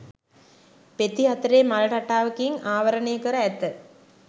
පෙති හතරේ මල් රටාවකින් ආවරණය කර ඇත.